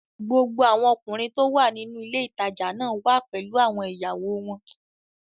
Gbogbo àwọn ọkùnrin tó wà nínú ilé ìtajà náà wà pẹ̀lú àwọn ìyàwó wọn